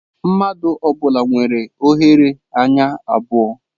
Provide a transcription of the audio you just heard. Mmadụ ọ bụla nwere oghere anya abụọ.